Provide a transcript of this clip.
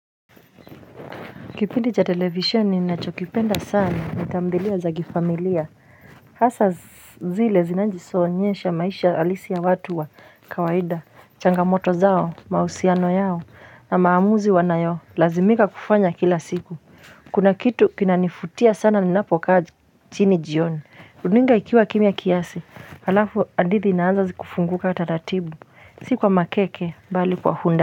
Kipindi cha televisioni ninachokipenda sana, ni tamthilia za kifamilia. Hasa zile zinazoonyesha maisha halisi ya watu wa kawaida, changamoto zao, mahusiano yao, na maamuzi wanayolazimika kufanya kila siku. Kuna kitu kinanivutia sana ninapokaa chini jioni. Runinga ikiwa kimya kiasi, alafu hadithi inaanza zikifunguka taratibu, si kwa makeke, bali kwa undani.